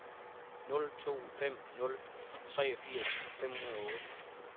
nul to fem nul treogfirs fem hundrede og otte